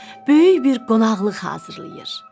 Böyük bir qonaqlıq hazırlayır.